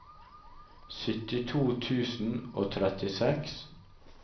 syttito tusen og trettiseks